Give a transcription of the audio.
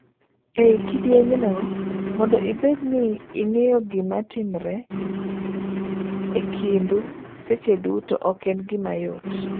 Ei kidieny no, mondo ibed ni ing'eyo gima timre ekindu seche duto ok en gima yot.